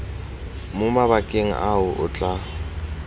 mo mabakeng ao o tla